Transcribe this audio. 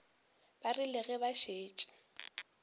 ba rile ge ba šetše